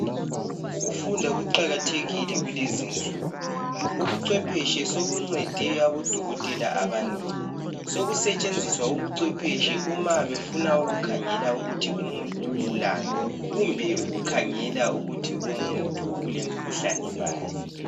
Ukufunda ukuqakathekile kulezinsuku, ubucwephetshe sobuncede odokotela abanengi. Sokusetshenziswa ubucwephetshe uma befuna ukukhangela ukuthi umuntu ugulani kumbe ukukhangela ukuthi umuntu olemkhuhlane bani.